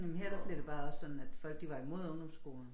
Men her der bliver det bare også sådan at folk de var imod ungdomsskolen